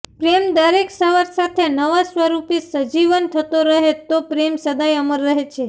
પ્રેમ દરેક સવાર સાથે નવા સ્વરૂપે સજીવન થતો રહે તો પ્રેમ સદાયે અમર રહે છે